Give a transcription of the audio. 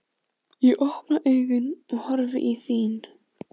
Ég opna augun og horfi í þín.